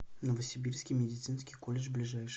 новосибирский медицинский колледж ближайший